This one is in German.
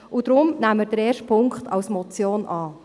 Deshalb nehmen wir den ersten Punkt als Motion an.